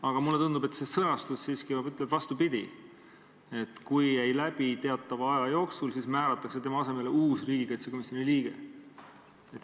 Aga mulle tundub, et see sõnastus ütleb siiski vastupidi: kui ei läbi teatava aja jooksul, siis määratakse tema asemele uus riigikaitsekomisjoni liige.